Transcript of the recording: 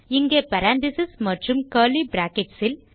இங்கே பேரெந்தசிஸ் மற்றும் curly brackets இல்